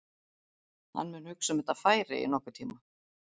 Hann mun hugsa um þetta færi í nokkurn tíma.